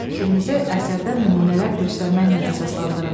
Fikrinizi əsərdən nümunələr göstərməklə əsaslandırın.